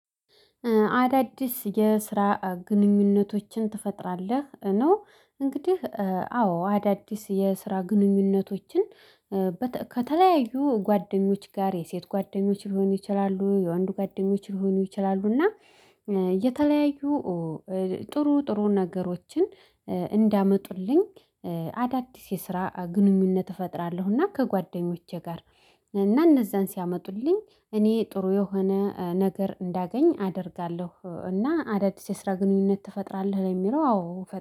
አዳዲስ የስራ ግንኙነቶችን ትፈጥራለህ? ነው እንግዲህ አዎ አዳዲስ የስራ ግንኙነቶችን ከተለያዩ ጓደኞች ጋር የሴት ጓደኞች ሊሆኑ ይችላሉ የወንድ ጓደኞች ሊሆኑ ይችላሉ። እና የተለያዩ ጥሩ ጥሩ ነገሮችን እንዳመጡልኝ። አዳዲስ የስራ ግንኙነት እፈጥራለሁና ከጓደኞቼ ጋር እና እነዛን ሲያመጡልኝ እኔ ጥሩ የሆነ ነገር እንዳገኝ አደርጋለሁ። እና አዳዲስ የስራ ግንኙነት ትፈጥራለህ ለሚለው አዎ